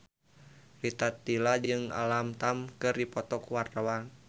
Rita Tila jeung Alam Tam keur dipoto ku wartawan